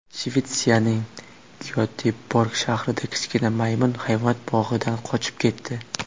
Shvetsiyaning Gyoteborg shahrida kichkina maymun hayvonot bog‘idan qochib ketdi.